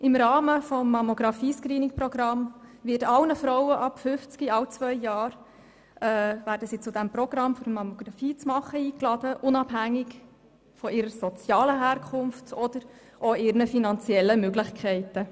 Im Rahmen des Mammographie-Screening-Programms werden alle Frauen ab 50 Jahren alle zwei Jahre eingeladen, eine Mammographie durchführen zu lassen, unabhängig von ihrer sozialen Herkunft oder ihren finanziellen Möglichkeiten.